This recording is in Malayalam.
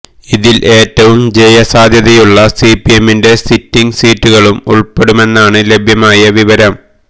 ഇതിൽ ഏറ്റവും ജയസാധ്യതയുള്ള സിപിഎമ്മിന്റെ സിറ്റിങ് സീറ്റുകളും ഉൾപ്പെടുമെന്നാണ് ലഭ്യമായ വിവരം